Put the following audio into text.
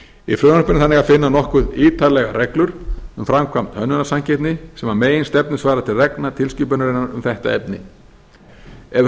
í frumvarpinu er þannig að finna nokkuð ítarlegar reglur um framkvæmd hönnunarsamkeppni sem að meginstefnu svarar til reglna tilskipunarinnar um þetta efni ef